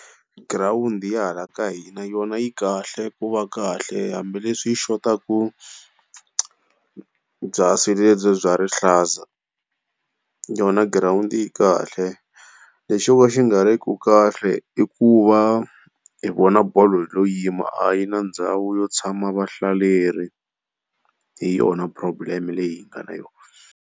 Girawundi ya hala ka hina yona yi kahle ku va kahle, hambileswi yi xotaku byasi lebyiya bya rihlaza. Yona girawundi yi kahle, lexi xo ka xi nga ri ku kahle i ku va hi vona bolo hi lo yima a yi na ndhawu yo tshama vahlaleri, hi yona problem leyi hi nga na yona.